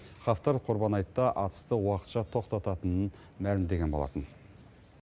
хафтар құрбан айтта атысты уақытша тоқтататынын мәлімдеген болатын